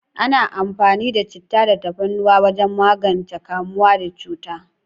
Ana amfani da chittah da tafarnuwa wajen magance kamuwa da cuta.